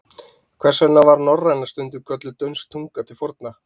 Hvers vegna var norræna stundum kölluð dönsk tunga til forna?